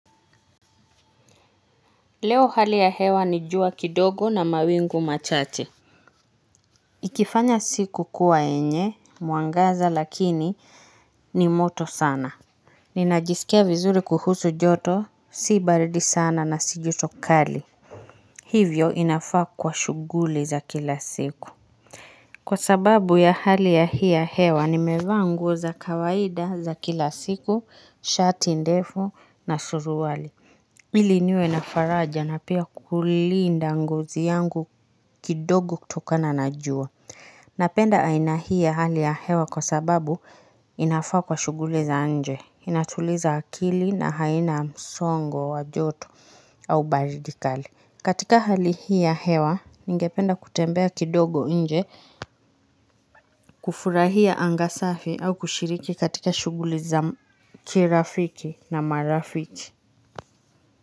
Leo hali ya hewa ni jua kidogo na mawingu machache Ikifanya siku kuwa yenye mwangaza lakini ni moto sana Ninajisikia vizuri kuhusu joto si baridi sana na si joto kali Hivyo inafaa kuwa shughuli za kila siku. Kwa sababu ya hali ya hii ya hewa nimevaa nguo za kawaida za kila siku shati, ndefu na suruali ili niwe na faraja na pia kulinda ngozi yangu kidogo kutokana na jua. Napenda aina hii ya hali ya hewa kwa sababu inafaa kwa shughuli za nje. Inatuliza akili na haina msongo wa joto au baridi kali. Katika hali hii ya hewa, ningependa kutembea kidogo nje kufurahia anga safi au kushiriki katika shughuli za kirafiki na marafiki.